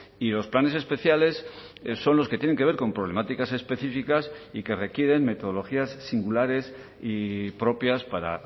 y los planes especiales son los que tienen que ver con problemáticas específicas y que requieren metodologías singulares y propias para